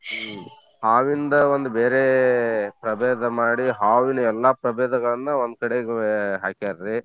ಹ್ಮ್‌ ಹಾವಿಂದ ಒಂದ್ ಬೇರೇ ಪ್ರಭೇದ ಮಾಡಿ ಹಾವಿನ ಎಲ್ಲಾ ಪ್ರಭೇದಗಳನ್ನ ಒಂದ್ ಕಡೆಗೆ ಹಾಕ್ಯಾರಿ.